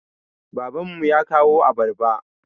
Baban mu ya kawo abarba.